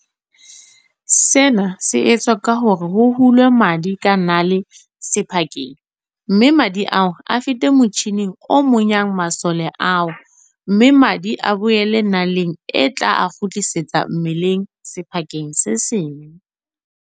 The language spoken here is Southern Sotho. Sena se etswa ka hore ho hulwe madi ka nale sephakeng mme madi ao a fete motjhining o monyang masole ao mme madi a boele naleng e tla a kgutlisetsa mmeleng sephakeng se seng.